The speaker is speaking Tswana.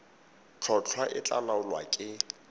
tlhotlhwa e tla laolwa ke